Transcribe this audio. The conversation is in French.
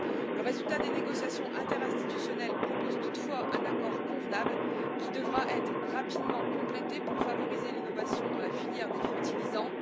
Le résultat des négociations interinstitutionnelles propose toutefois un accord convenable, qui devra être rapidement complété pour favoriser l'innovation dans la filière des fertilisants.